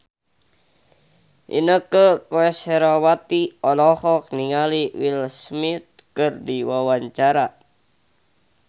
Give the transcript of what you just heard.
Inneke Koesherawati olohok ningali Will Smith keur diwawancara